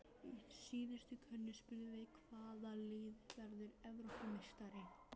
Í síðustu könnun spurðum við- Hvaða lið verður Evrópumeistari?